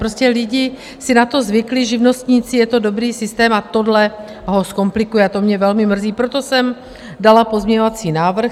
Prostě lidé si na to zvykli, živnostníci, je to dobrý systém a tohle ho zkomplikuje, a to mě velmi mrzí, proto jsem dala pozměňovací návrh.